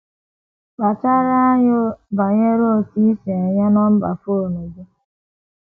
Kpachara anya banyere otú i si enye nọmba fon gị.